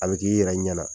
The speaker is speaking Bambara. A bɛ k'i yɛrɛ ɲɛna